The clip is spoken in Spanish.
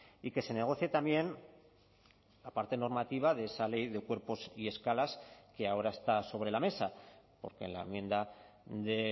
y que se negocie también la parte normativa de esa ley de cuerpos y escalas que ahora está sobre la mesa porque en la enmienda de